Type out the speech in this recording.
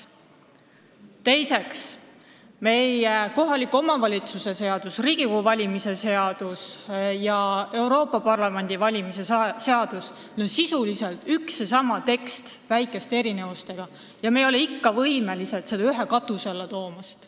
Teiseks, meie kohaliku omavalitsuse valimise seadus, Riigikogu valimise seadus ja Euroopa Parlamendi valimise seadus on sisuliselt üks ja sama tekst väikeste erinevustega, aga me ei ole võimelised seda regulatsiooni ühe katuse alla tooma.